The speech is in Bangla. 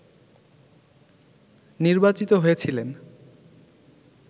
নির্বাচিত হয়েছিলেন